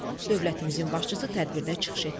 Dövlətimizin başçısı tədbirdə çıxış etdi.